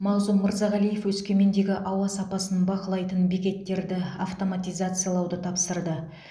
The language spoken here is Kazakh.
мағзұм мырзағалиев өскемендегі ауа сапасын бақылайтын бекеттерді автоматизациялауды тапсырды